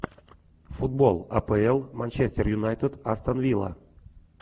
футбол апл манчестер юнайтед астон вилла